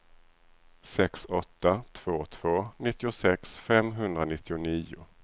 sex åtta två två nittiosex femhundranittionio